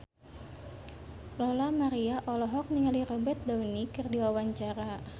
Lola Amaria olohok ningali Robert Downey keur diwawancara